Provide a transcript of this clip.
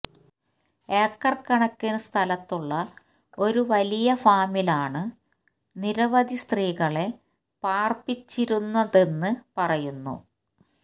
acre കണക്കിന് സ്ഥലത്തുള്ള ഒരു വലിയ ഫാമിലാണ് നിരവധി സ്ത്രീകളെ പാര്പ്പിച്ചിരുന്നതെന്ന് പറയുന്നു